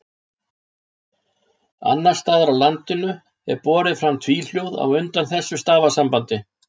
Annars staðar á landinu er borið fram tvíhljóð á undan þessu stafasambandi.